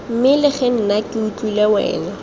mmelege nna ke utlwile wena